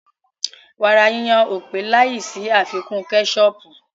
Wàrà yíyon ò pé láì sí àfikún kẹ́sọọ̀pù